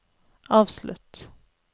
avslutt